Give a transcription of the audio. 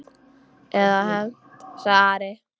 Eða hefnt, sagði Ari.